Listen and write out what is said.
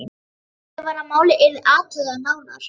Ákveðið var að málið yrði athugað nánar.